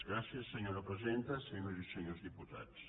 gràcies senyora presidenta senyores i senyors diputats